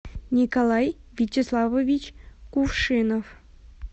николай вячеславович кувшинов